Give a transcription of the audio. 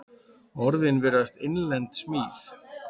Orðin virðast innlend smíð.